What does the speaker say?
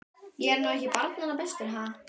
Ég er nú ekki barnanna bestur, ha.